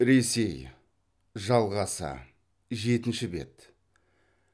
ресей жалғасы жетінші бет